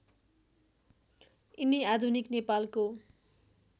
यिनी आधुनिक नेपालको